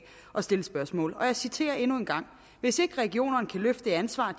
at stille spørgsmål og jeg citerer endnu en gang hvis ikke regionerne kan løfte det ansvar